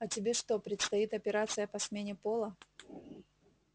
а тебе что предстоит операция по смене пола